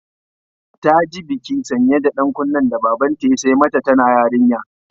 Ta ji bikin sanya da ɗan kunnen da Babanta ya sai mata tana yarinya.